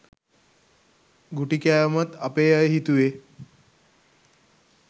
ගුටි කෑවමත් අපේ අය හිතුවෙ